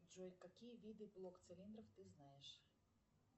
джой какие виды блокцилиндров ты знаешь